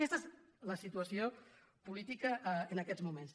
aquesta és la situació política en aquests moments